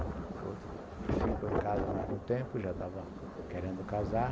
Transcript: O outro ficou em casa mais um tempo, já estava querendo casar.